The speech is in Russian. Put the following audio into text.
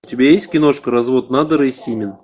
у тебя есть киношка развод надера и симин